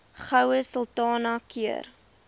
goue sultana keur